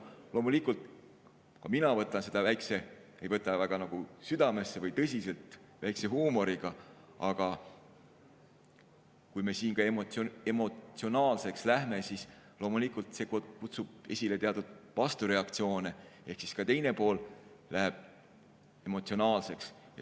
Loomulikult, ka mina võtan seda väikese huumoriga, ei võta väga südamesse või tõsiselt, aga kui me siin emotsionaalseks läheme, siis loomulikult see kutsub esile teatud vastureaktsioone ehk ka teine pool läheb emotsionaalseks.